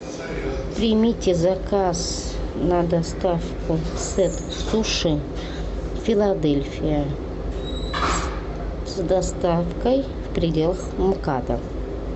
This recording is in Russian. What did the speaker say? примите заказ на доставку сет суши филадельфия с доставкой в пределах мкада